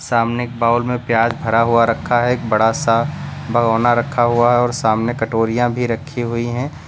सामने एक बाउल में प्याज भरा हुआ रखा है। एक बड़ा सा भगोना रखा हुआ है और सामने कटोरियाँ भी रखी हुई हैं।